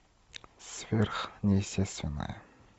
сверхъестественное